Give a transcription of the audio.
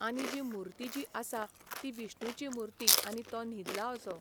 आनी जी मुर्ती जी आसा ती विष्णूची मुर्ती आनी तो न्हिदला असो.